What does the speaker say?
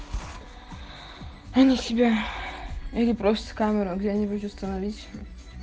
они тебя или просто камера где-нибудь установить